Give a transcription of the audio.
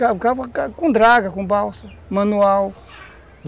Cava cava com draga, com balsa, manual.